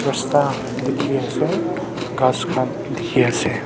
rasta diki ase kas kan diki ase.